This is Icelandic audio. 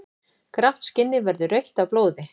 Grátt skinnið verður rautt af blóði.